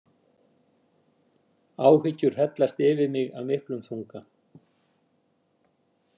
Áhyggjur hellast yfir mig af miklum þunga.